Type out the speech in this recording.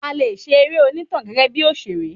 A lè ṣe eré onitan gẹgẹ bí òṣèré